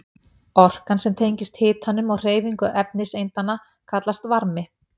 Orkan sem tengist hitanum og hreyfingu efniseindanna kallast varmi.